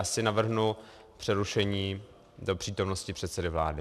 Asi navrhnu přerušení do přítomnosti předsedy vlády.